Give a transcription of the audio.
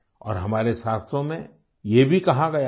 और हमारे शास्त्रों में ये भी कहा गया है